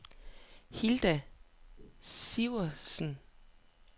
Hilda Sivertsen